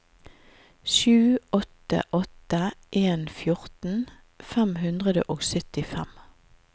sju åtte åtte en fjorten fem hundre og syttifem